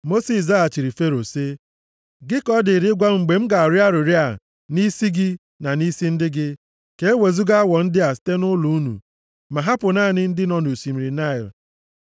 Mosis zaghachiri Fero sị, “Gị ka ọ dịrị ịgwa m mgbe m ga-arịọ arịrịọ a nʼisi gị na nʼisi ndị gị, ka e wezuga awọ ndị a site nʼụlọ unu, ma hapụ naanị ndị nọ nʼosimiri Naịl.”